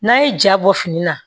N'a ye ja bɔ fini na